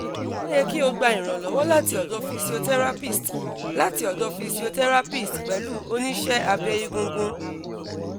o ye ki o gba iranlowo lati odo physiotherapist lati odo physiotherapist pelu onise abe egungun